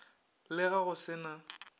le ge go se na